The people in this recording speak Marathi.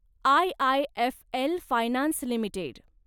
IIFL finance limited